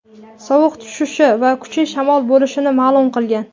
sovuq tushishi va kuchli shamol bo‘lishini ma’lum qilgan.